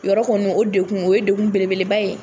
Yɔrɔ kɔni o dekun o ye dekun beleba ye.